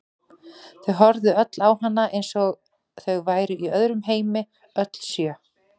Þau horfðu öll á hana eins og þau væru í öðrum heimi, öll sjö.